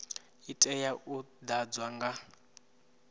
i tea u ḓadzwa nga